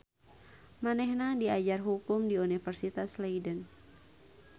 Manehna diajar hukum di Universitas Leiden.